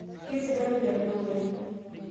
kesidanu tedukuya